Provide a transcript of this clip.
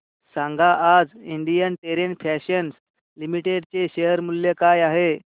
सांगा आज Indian Terrain Fashions Limited चे शेअर मूल्य काय आहे